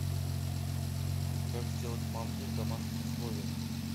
как сделать манты в домашних условиях